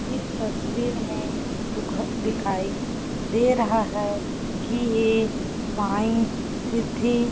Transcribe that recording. इस तस्वीर में दुख दिखाई दे रहा है कि ये साईं सिद्धि --